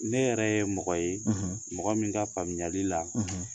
Ne yɛrɛ ye mɔgɔ ye , mɔgɔ min ka faamuyali la